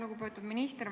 Lugupeetud minister!